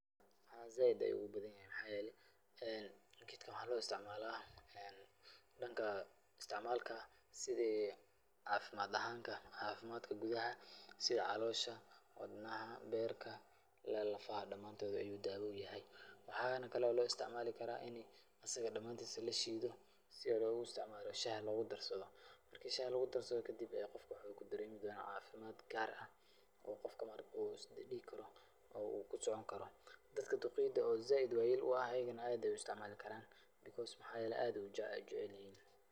Haa zaid ayuu ugubadanyahay maxa yele gedkan waxa loisticmala dhanka iasticmalka sidi cafimad ahanta cafimadka gudaha sida calosha, wadnaha, beerka ila iyo lafaha dhamantod ayuu dawa uyahay. waxana kalo loisticmali kara ini asaga dhamantis lashido sidi loguisticmalo shaha logudharsado marki shaha lagudharsado kadhib ee qofka kudaremi dona cafimadh gaar ah oo qofka marka uu isdihi karo uu kusoconkaro dadka duqeyda oo zaid wayel uah ayagana aad ayey uisticmali karan because maxa yele aad ayey ujecelyihin.